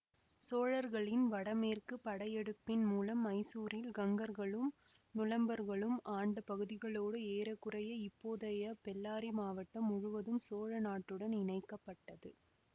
சோழர்களின் வடமேற்கு படையெடுப்பின் மூலம் மைசூரில் கங்கர்களும் நுளம்பர்களும் ஆண்ட பகுதிகளோடு ஏற குறைய இப்போதையை பெல்லாரி மாவட்டம் முழுவதும் சோழ நாட்டுடன் இணைக்க பட்டது